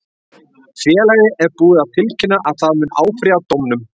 Félagið er búið að tilkynna að það mun áfrýja dómnum.